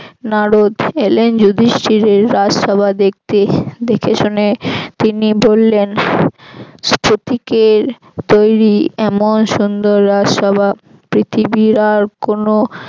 নারদ এলেন যুধিষ্টির এই রাজসভা দেখতে দেখেশুনে তিনি বললেন স্ফটিকের তৈরি এমন সুন্দর রাজসভা পৃথিবীর আর কোনো